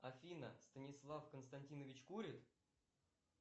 афина станислав константинович курит